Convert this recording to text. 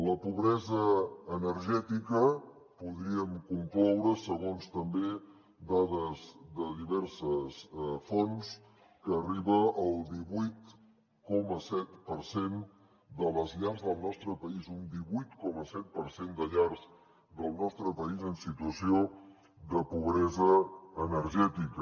la pobresa energètica podríem concloure segons també dades de diverses fonts que arriba al divuit coma set per cent de les llars del nostre país un divuit coma set per cent de llars del nostre país en situació de pobresa energètica